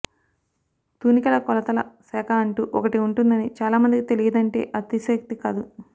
తూనికల కొలతల శాఖ అంటూ ఒకటి ఉంటుందని చాలా మందికి తెలియదంటే అతిశయోక్తి కాదు